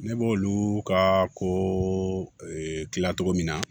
Ne b'olu ka ko la cogo min na